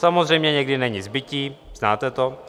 Samozřejmě někdy není zbytí, znáte to.